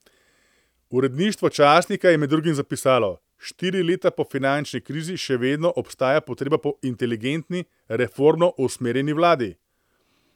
Uredništvo časnika je med drugim zapisalo: 'Štiri leta po finančni krizi še vedno obstaja potreba po inteligentni, reformno usmerjeni vladi.